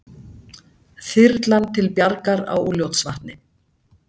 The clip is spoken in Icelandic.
Þyrlan til bjargar á Úlfljótsvatni